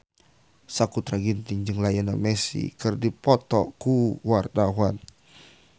Sakutra Ginting jeung Lionel Messi keur dipoto ku wartawan